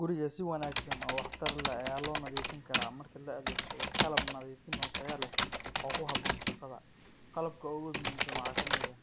Guriga si wanagsan oo wah tar leh aya lonadifinkara marki laadegsado qalab nadifin oo taya leh, oo kuxabon shagada, qalabka o gu muximsan waxa kamid ah,